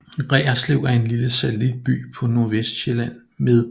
Reerslev er en lille satellitby på Nordøstsjælland med